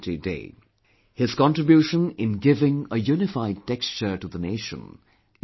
His contribution in giving a unified texture to the nation is without parallel